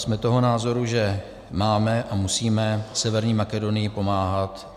Jsme toho názoru, že máme a musíme Severní Makedonii pomáhat.